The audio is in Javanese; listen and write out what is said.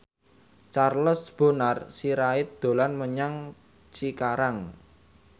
Charles Bonar Sirait dolan menyang Cikarang